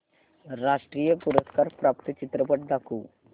राष्ट्रीय पुरस्कार प्राप्त चित्रपट दाखव